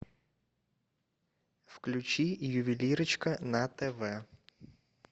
включи ювелирочка на тв